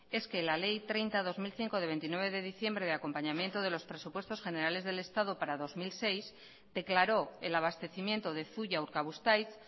es que la ley treinta barra dos mil cinco de veintinueve de diciembre de acompañamiento de los presupuestos generales del estado para dos mil seis declaró el abastecimiento de zuia urkabustaiz